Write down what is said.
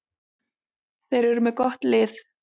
Þeir eru með gott lið.